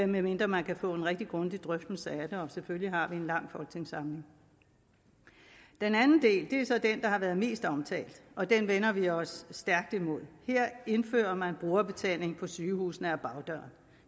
medmindre man kan få en rigtig grundig drøftelse af det og selvfølgelig har vi en lang folketingssamling den anden del er så den der har været mest omtalt og den vender vi os stærkt imod her indfører man brugerbetaling på sygehusene ad bagdøren